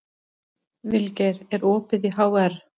Vilgeir, er opið í HR?